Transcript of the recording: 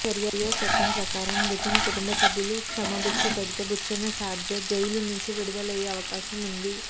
షరియా చట్టం ప్రకారం మృతుని కుటుంబ సభ్యులు క్షమాభిక్ష పెడితే బుచ్చన్న షార్జా జైలు నుంచి విడుదలయ్యే అవకాశం ఉంది